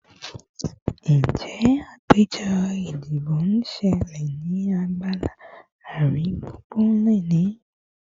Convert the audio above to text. Njẹ apejọ idibo n ṣẹlẹ ni agbala aringbungbun loni?